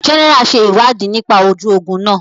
General ṣe ìwádìí nípa ojú ogún náà